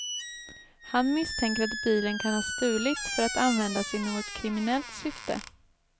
Han misstänker att bilen kan ha stulits för att användas i något kriminellt syfte.